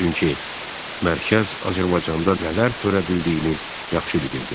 Çünki mərkəz Azərbaycandan nələr törədildiyini yaxşı bilirdi.